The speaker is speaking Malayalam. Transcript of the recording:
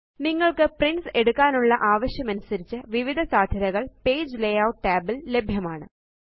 നിങ്ങൾക്ക് പ്രിന്റ്സ് എടുക്കാനുള്ള ആവശ്യമനുസരിച്ച് വിവിധ സാദ്ധ്യതകള് പേജ് ലേയൂട്ട് tab ല് ലഭ്യമാണ്